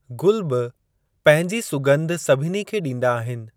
गुल बि पंहिंजी सुॻंधि सभिनी खे ॾींदा आहिनि।